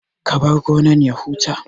Ka bar gonan ya huta